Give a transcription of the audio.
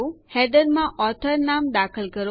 હેડરમાં author લેખક નામ દાખલ કરો